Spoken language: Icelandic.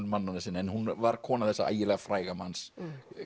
mannanna sinna en hún var kona þessa ægilega fræga manns